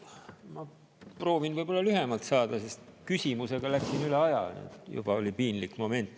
Ma proovin võib-olla lühemalt, sest küsimusega läksin üle aja, juba oli piinlik moment.